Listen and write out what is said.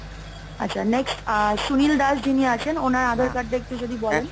আচ্ছা next সুনীল দাস যিনি আছেন ওনার আধার card টা একটু যদি বলেন,